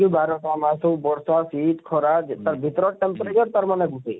ବାରଟା ମାସ ହଉ ବର୍ଷା ଶୀତ ଖରା ତାର ଭିତରେ Temperature ତାର ମାନେ ଥିସି,